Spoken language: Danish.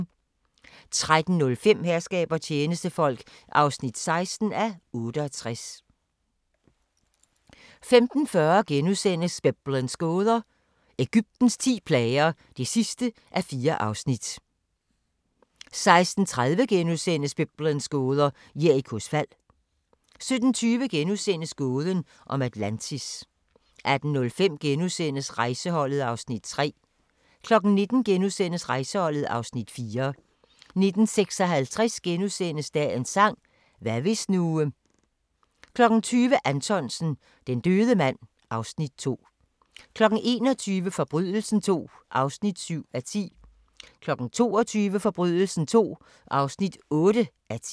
13:05: Herskab og tjenestefolk (16:68) 15:40: Biblens gåder – Egyptens ti plager (4:4)* 16:30: Biblens gåder – Jerikos fald * 17:20: Gåden om Atlantis * 18:05: Rejseholdet (Afs. 3)* 19:00: Rejseholdet (Afs. 4)* 19:56: Dagens sang: Hvad hvis nu * 20:00: Anthonsen - Den døde mand (Afs. 2) 21:00: Forbrydelsen II (7:10) 22:00: Forbrydelsen II (8:10)